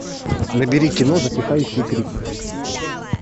набери кино затихающие крики